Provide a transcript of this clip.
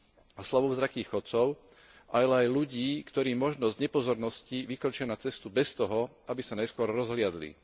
a slabozrakých chodcov, ale aj ľudí, ktorí možno z nepozornosti vykročia na cestu bez toho, aby sa najskôr rozhliadli.